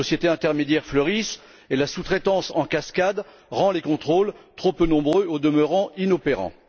Les sociétés intermédiaires fleurissent et la sous traitance en cascade rend les contrôles trop peu nombreux, au demeurant inopérants.